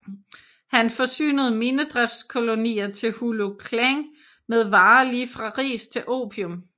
Han forsynede minedriftskolonier i Hulu Klang med varer lige fra ris til opium